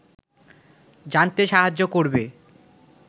জানতে সাহায্য করবে